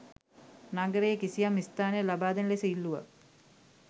නගරයේ කිසියම් ස්ථානයක් ලබාදෙන ලෙස ඉල්ලුවා.